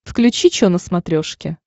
включи че на смотрешке